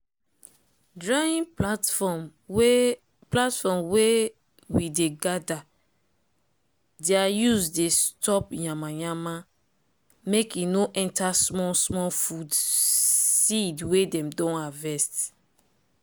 drying platform wey platform wey we dey gather ther use dey stop yamayama make e no enter small small food sed wey dem don harvest.